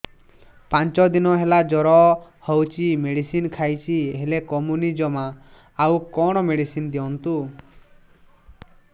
ପାଞ୍ଚ ଦିନ ହେଲା ଜର ହଉଛି ମେଡିସିନ ଖାଇଛି ହେଲେ କମୁନି ଜମା ଆଉ କଣ ମେଡ଼ିସିନ ଦିଅନ୍ତୁ